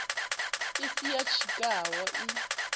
i si ya tshikhau i